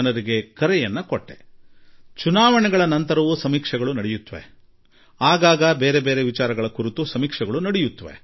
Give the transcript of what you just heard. ಚುನಾವಣೆಯ ನಂತರವೂ ಬಹಳ ಸಮೀಕ್ಷೆಗಳಾಗುತ್ತವೆ ಚುನಾವಣೆಯ ನಡುವೆಯೂ ಸಮೀಕ್ಷೆಗಳಾಗುತ್ತವೆ ನಡುವೆ ಕೆಲವೊಂದು ವಿಷಯಗಳ ಸಮೀಕ್ಷೆ ನಡೆಯುತ್ತದೆ ಜನಪ್ರಿಯತೆಯ ಸಮೀಕ್ಷೆ ನಡೆಯುತ್ತದೆ